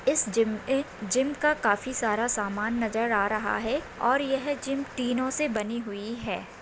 इस जिम में जिम का काफी सारा सामान नजर आ रहा है और यह जिम टीनों से बनी हुई है।